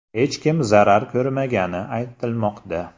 Hech kim zarar ko‘rmagani aytilmoqda.